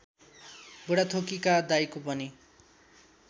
बुढाथोकीका दाइको पनि